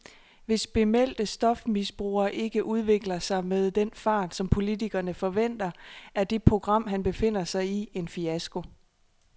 Hvis bemeldte stofmisbrugere ikke udvikler sig med den fart, som politikerne forventer, er det program, han befinder sig i, en fiasko.